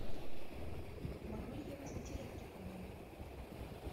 могу ли я вызвать электрика в номер